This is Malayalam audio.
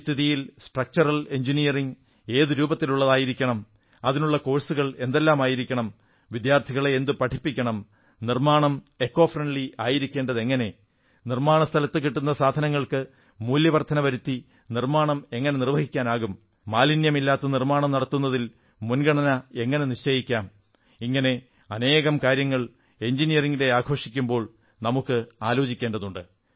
ഈ സ്ഥിതിയിൽ സ്ട്രക്ചറൽ എഞ്ചിനീയറിംഗ് ഏതു രൂപത്തിലുള്ളതായിരിക്കണം അതിനുള്ള കോഴ്സുകൾ എന്തെല്ലാമായിരിക്കണം വിദ്യാർഥികളെ എന്തു പഠിപ്പിക്കണം നിർമ്മാണം പരിസ്ഥിതി സൌഹാർദ്ദപരം ആയിരിക്കേണ്ടതെങ്ങനെ നിർമ്മാണ സ്ഥലത്തു കിട്ടുന്ന സാധനങ്ങൾക്ക് മൂല്യവർധന വരുത്തി നിർമ്മാണം എങ്ങനെ നിർവ്വഹിക്കാനാകും മാലിന്യമില്ലാതെ നിർമ്മാണം നടത്തുന്നതിൽ മുൻഗണന എങ്ങനെ നിശ്ചയിക്കാം ഇങ്ങനെ അനേകം കാര്യങ്ങൾ എഞ്ചിനീയറിംഗ് ദിനം ആഘോഷിക്കുമ്പോൾ നമുക്ക് ആലോചിക്കേണ്ടതുണ്ട്